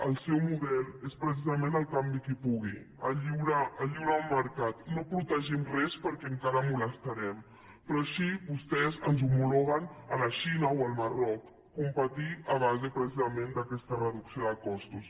el seu model és precisament el campi qui pugui el lliure mercat no protegim res perquè encara molestarem però així vostès ens homologuen a la xina o al marroc competir a base precisament d’aquesta reducció de costos